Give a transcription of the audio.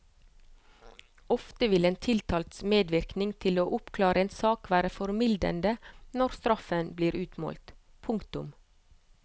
Ofte vil en tiltalts medvirkning til å oppklare en sak være formildende når straffen blir utmålt. punktum